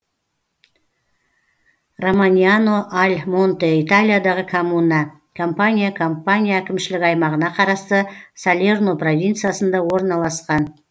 романьяно аль монте италиядағы коммуна кампания кампания әкімшілік аймағына қарасты салерно провинциясында орналасқан